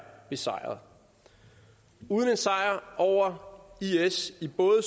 besejret uden en sejr over is i både